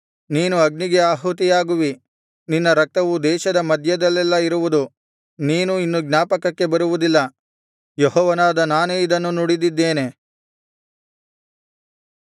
ನೀನು ಅಗ್ನಿಗೆ ಆಹುತಿಯಾಗುವಿ ನಿನ್ನ ರಕ್ತವು ದೇಶದ ಮಧ್ಯದಲ್ಲೆಲ್ಲಾ ಇರುವುದು ನೀನು ಇನ್ನು ಜ್ಞಾಪಕಕ್ಕೆ ಬರುವುದಿಲ್ಲ ಯೆಹೋವನಾದ ನಾನೇ ಇದನ್ನು ನುಡಿದಿದ್ದೇನೆ